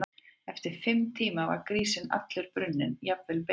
Eftir fimm tíma var grísinn allur brunninn, jafnvel beinin.